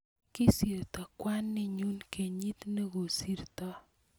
kisirto kwaninyun kenyit nekosirtoi